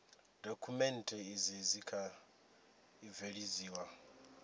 dokhumenthe izi dzi kha ḓi bveledziwa